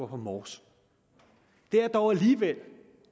på mors det er dog alligevel